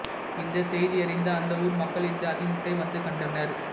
இந்த செய்தியறிந்த அந்த ஊர் மக்கள் இந்த அதிசயத்தை வந்து கண்டனர்